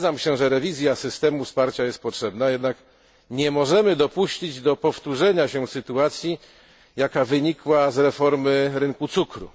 Zgadzam się, że rewizja systemu wsparcia jest potrzebna, jednak nie możemy dopuścić do powtórzenia się sytuacji, jaka wynikła z reformy rynku cukru.